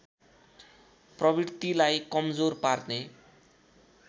प्रवृत्तिलाई कमजोर पार्ने